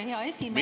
Hea esimees!